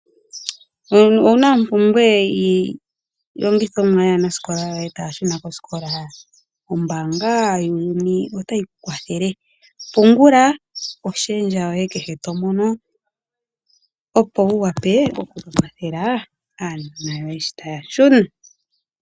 Owuna ompumbwe yiilongithomwa yaanasikola yoye taya shuna koositola? Ombaanga yotango yopashigwana otayi kwathele . Pungula oshendja yoye kehe tomono, opo wuwape okukwathela aanona yoye sho taya shuna.